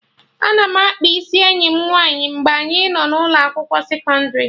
Ana m akpa isi enyi m nwaanyị mgbe anyị nọ ụlọ akwụkwọ sekọndrị